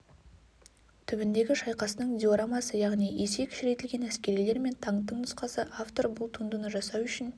түбіндегі шайқастың диорамасы яғни есе кішірейтілген әскерилер мен танктың нұсқасы автор бұл туындыны жасау үшін